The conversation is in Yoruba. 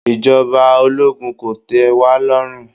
Ìjọba ológun kò tẹ́ wa lọ́rùn